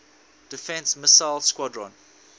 defense missile squadron